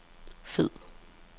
fed